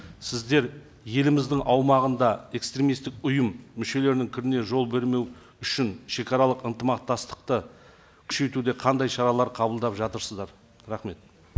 сіздер еліміздің аумағында экстремисттік ұйым мүшелерінің кіруіне жол бермеу үшін шегаралық ынтымақтастықты күшейтуде қандай шаралар қабылдап жатырсыздар рахмет